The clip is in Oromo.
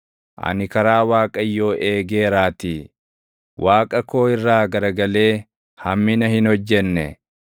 Ani karaa Waaqayyoo eegeeraatii; Waaqa koo irraa garagalee hammina hin hojjenne.